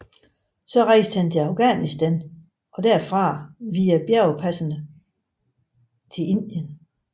Så rejste han til Afghanistan og derfra via bjergpassene til Indien